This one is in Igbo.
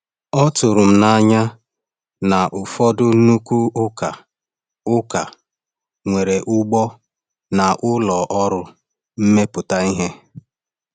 Ọ tụrụ m n’anya na ụfọdụ nnukwu ụka ụka nwere ugbo na ụlọ ọrụ mmepụta ihe.